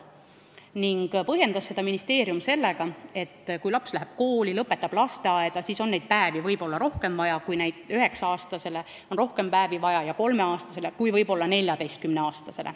Ministeerium põhjendas seda sellega, et kui laps läheb kooli või lasteaeda, siis on neid päevi võib-olla rohkem vaja, et üheksa-aastasel ja kolmeaastasel on neid päevi võib-olla rohkem vaja kui 14-aastasel.